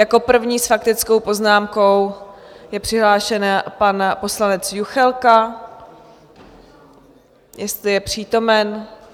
Jako první s faktickou poznámkou je přihlášen pan poslanec Juchelka, jestli je přítomen.